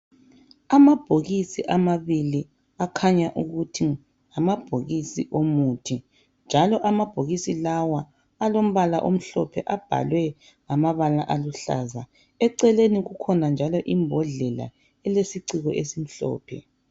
Amabhokisi amabili akhanya ukuthi ngamabhokisi omuthi njalo amabhokisi lawa alombala omhlophe abhalwe ngamabala aluhlaza . Eceleni kukhona njalo imbodlela elesiciko esimhlophe.